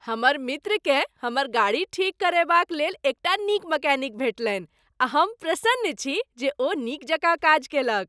हमर मित्रकेँ हमर गाड़ी ठीक करयबाक लेल एकटा नीक मैकेनिक भेटलनि आ हम प्रसन्न छी जे ओ नीक जकाँ काज कयलक।